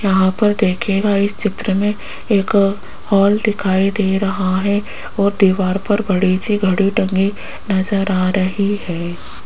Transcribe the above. यहां पर देखिएगा इस चित्र में एक हॉल दिखाई दे रहा है और दीवार पर बड़ी सी घड़ी टंगी नजर आ रही है।